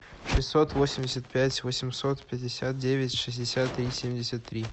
шестьсот восемьдесят пять восемьсот пятьдесят девять шестьдесят три семьдесят три